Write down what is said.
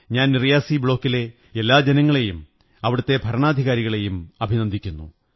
ഞാൻ റിയാസി ബ്ലോക്കിലെ എല്ലാ ജനങ്ങളെയും അവിടത്തെ ഭരണാധികാരികളെയും അഭിനന്ദിക്കുന്നു